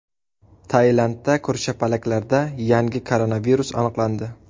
Tailandda ko‘rshapalaklarda yangi koronavirus aniqlandi.